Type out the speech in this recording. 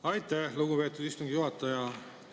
Aitäh, lugupeetud istungi juhataja!